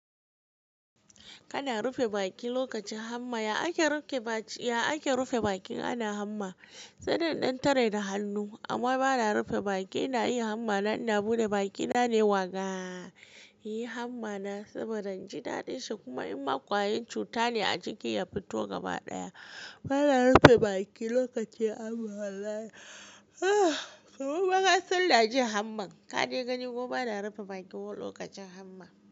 Kana rufe baki lokacin hamma. Ya ake rufe baki in ana hamma? Sai dai in ɗan tare da hannu amma bana rufe bakin. Ina yin hamma na ina buɗe bakina ne wa ga inayin hamma na saboda inji daɗin shi kuma in ma ƙwayar cuta ne a ciki ya fito gaba ɗaya. Bana rufe baki lokacin hamma. Gobe ma nasan ina jin hamman. Kadai gani kuma bana rufe baki lokacin hamma.